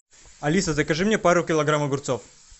алиса закажи мне пару килограмм огурцов